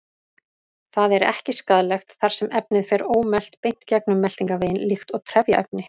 Það er ekki skaðlegt þar sem efnið fer ómelt beint gegnum meltingarveginn líkt og trefjaefni.